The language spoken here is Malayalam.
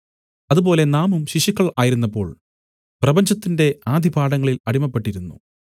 അതുപോലെ നാമും ശിശുക്കൾ ആയിരുന്നപ്പോൾ പ്രപഞ്ചത്തിന്റെ ആദി പാഠങ്ങളിൽ അടിമപ്പെട്ടിരുന്നു